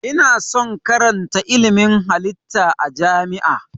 Ina son karatan ilmin halitta a jami'a